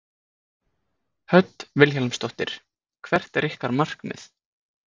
Hödd Vilhjálmsdóttir: Hvert er ykkar markmið?